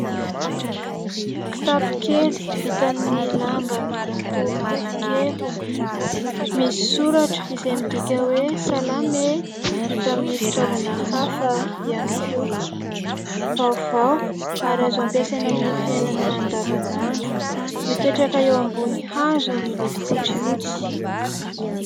Kitapo kely vita amin'ny lamba miloko mavokely, misy soratra izay midika hoe : salama e ! Vita amin'ny fitaovana hafa ihany koa. Vaovao ary azo ampiasaina amin'ny fiainana andavanandro. Mipetraka eo ambonin'ny hazo miloko fotsifotsy.